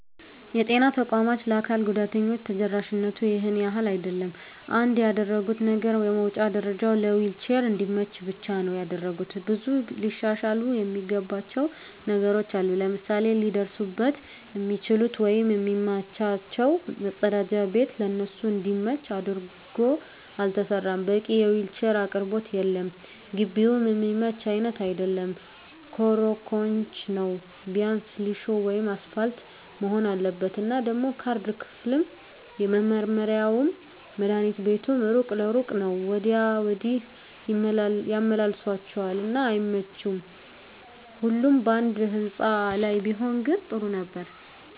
የጤና ተቋማት ለአካል ጉዳተኞች ተደራሽነቱ ይሄን ያህል አይደለም። አንድ ያደረጉት ነገር የመዉጫ ደረጀዉ ለዊልቸር እንዲመች ብቻ ነዉ ያደረጉት። ብዙ ሊሻሻሉ እሚገባቸዉ ነገሮች አሉ፤ ለምሳሌ ሊደርሱበት እሚችሉት ወይም እሚመቻቸዉ መፀዳጃ ቤት ለነሱ እንዲመች አድርጎ አልተሰራም፣ በቂ የዊልቸር አቅርቦት የለም፣ ግቢዉም እሚመች አይነት አይደለም ኮሮኮንች ነዉ ቢያንስ ሊሾ ወይም አሰፓልት መሆን አለበት። እና ደሞ ካርድ ክፍሉም፣ መመርመሪያዉም፣ መድሀኒት ቤቱም እሩቅ ለእሩቅ ነዉ ወዲያ ወዲህ ያመላልሷቸዋል እና አይመቺም ሁሉም ባንድ ህንፃ ላይ ቢሆን ግን ጥሩ ነበር።